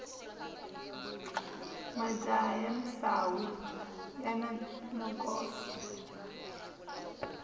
majaha ya misawu yani nokoto